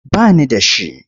Ba ni da shi.